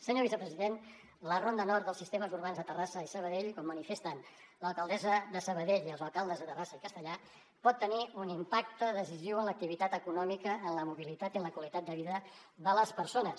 senyor vicepresident la ronda nord dels sistemes urbans de terrassa i sabadell com manifesten l’alcaldessa de sabadell i els alcaldes de terrassa i castellar pot tenir un impacte decisiu en l’activitat econòmica en la mobilitat i en la qualitat de vida de les persones